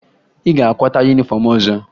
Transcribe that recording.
Ị ga-akwata yunifọmụ ọzọ!